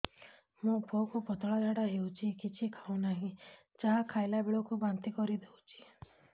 ମୋ ପୁଅ କୁ ପତଳା ଝାଡ଼ା ହେଉଛି କିଛି ଖାଉ ନାହିଁ ଯାହା ଖାଇଲାବେଳକୁ ବାନ୍ତି କରି ଦେଉଛି